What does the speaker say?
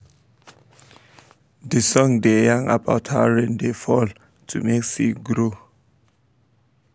de song da yan about how rain da fall to make seed grow